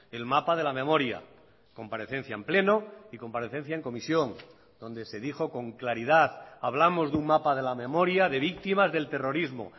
el mapa de la memoria comparecencia en pleno y comparecencia en comisión donde se dijo con claridad hablamos de un mapa de la memoria de víctimas del terrorismo